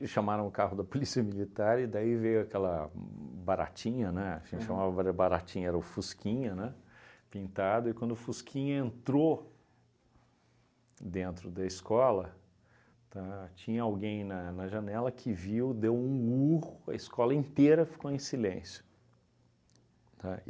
E chamaram o carro da polícia militar e daí veio aquela baratinha, né, assim chamava bare baratinha, era o Fusquinha, né, pintado, e quando o Fusquinha entrou dentro da escola, tá, tinha alguém na na janela que viu, deu um urro, a escola inteira ficou em silêncio, tá?